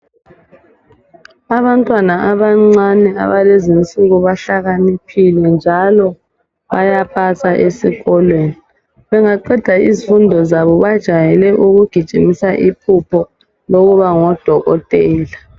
Abantwana abancane abalezi insuku bahlakaniphile njalo bayapasa esikolweni bengaqeda izifundo zabo bajayele ukugijimisa iphupho lokuba ngodokotela